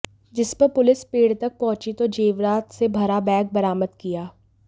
जिस पर पुलिस पेड़ तक पहुंची तो जेवरात से भरा बैग बरामद किया